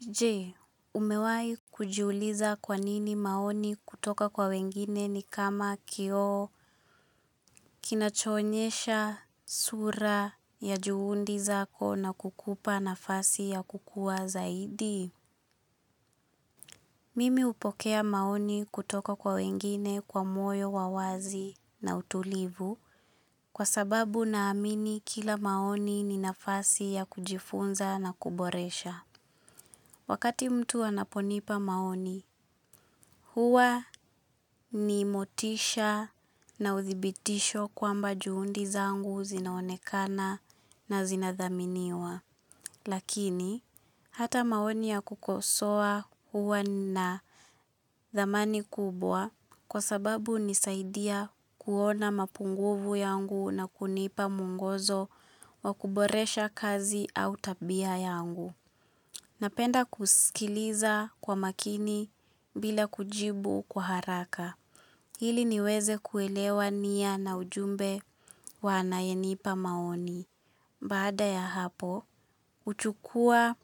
Je, umewahi kujiuliza kwanini maoni kutoka kwa wengine ni kama kio kinachoonyesha sura ya juhudi zako na kukupa nafasi ya kukua zaidi. Mimi hupokea maoni kutoka kwa wengine kwa moyo wa wazi na utulivu kwa sababu na amini kila maoni ni nafasi ya kujifunza na kuboresha. Wakati mtu anaponipa maoni huwa ni motisha na udhibitisho kwamba juhudi zangu zinaonekana na zinathaminiwa. Lakini, hata maoni ya kukosua huwa na thamani kubwa kwa sababu hunisaidia kuona mapunguvu yangu na kunipa mwongozo wa kuboresha kazi au tabia yangu. Napenda kusikiliza kwa makini bila kujibu kwa haraka. Ili niweze kuelewa niya na ujumbe wa anayenipa maoni. Baada ya hapo, huchukua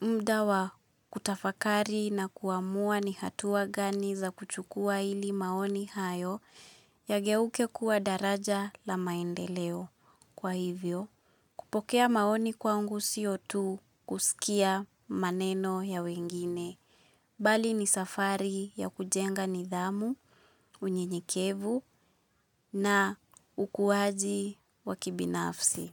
muda wa kutafakari na kuamua ni hatuwa gani za kuchukua ili maoni hayo yageuke kuwa daraja la maendeleo. Kwa hivyo kupokea maoni kwangu sio tu kusikia maneno ya wengine bali ni safari ya kujenga nidhamu, unyenyekevu na ukuaji wa kibinafsi.